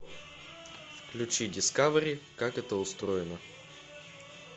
включи дискавери как это устроено